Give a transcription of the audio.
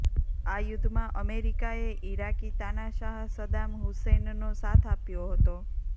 આ યુદ્ધમાં અમેરિકાએ ઇરાકી તાનાશાહ સદ્દામ હુસૈનનો સાથ આપ્યો હતો